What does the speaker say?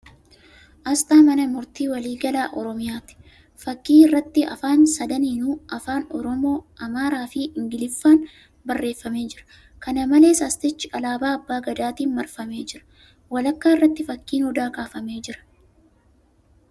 Asxaa mana murtii waliigala Oromiyaa. Fakkii irratti Afaan sadaniinuu ( Afaan Oromoo, Amaaraa fi Ingiliffaan ) barreeffamee jira. Kana malees, Asxichi alaabaa abbaa gadaatiin marfamee jira. Walakkaa irratii fakkiin odaa kaafamee jira.